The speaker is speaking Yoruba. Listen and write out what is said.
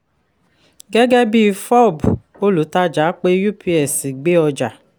gẹ́gẹ́ bí fob olùtàjà pe ups gbé ọjà.